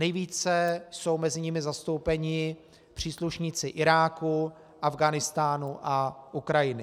Nejvíce jsou mezi nimi zastoupeni příslušníci Iráku, Afghánistánu a Ukrajiny.